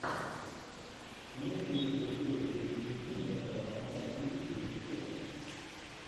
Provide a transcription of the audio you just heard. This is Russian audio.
имеется ли у тебя серия девять жизней нестора махно тридцать третья серия